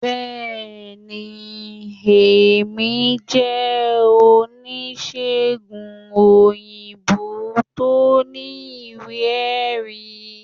bẹẹni, Emi je onisegùn oyinbo to ní iwe- erí